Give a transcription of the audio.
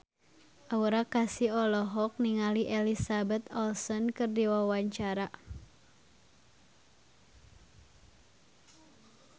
Aura Kasih olohok ningali Elizabeth Olsen keur diwawancara